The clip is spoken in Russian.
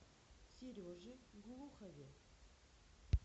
сереже глухове